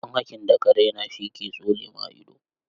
Dan haƙin da ka raina shi ke tsole ma ido.